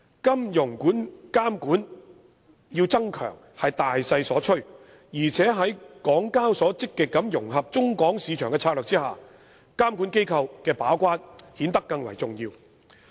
金融監管需要增強是大勢所趨，而且在港交所積極融合中港市場的策略下，監管機構的把關顯得更為重要。